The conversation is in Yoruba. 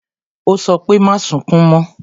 Ó sọ pé "Má sunkún mo"